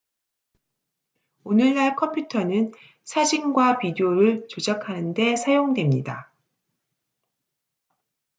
오늘날 컴퓨터는 사진과 비디오를 조작하는 데 사용됩니다